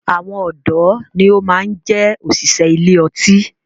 Àwọn ọdọ ni ó máa ń jẹ òṣìṣẹ́ ilé ọtí